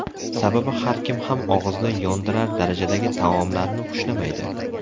Sababi har kim ham og‘izni yondirar darajadagi taomlarni xushlamaydi.